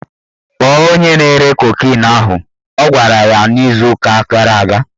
Kpọọ onye na-ere kokin ahụ! Ọ gwara ya n'izu ụka gara aga